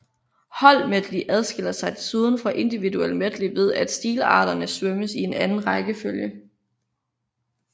Holdmedley adskiller sig desuden fra individuel medley ved at stilarterne svømmes i en anden rækkefølge